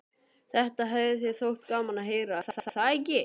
Þetta hefði þér þótt gaman að heyra, er það ekki?